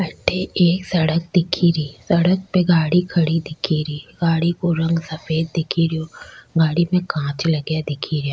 अठे एक सड़क दिखे री सड़क पे गाड़ी खडी दिखे री गाड़ी को रंग सफ़ेद दिखे रेहो गाडी पे कांच लगा दिखे रेहा।